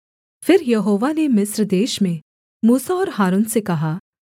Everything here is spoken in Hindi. फिर यहोवा ने मिस्र देश में मूसा और हारून से कहा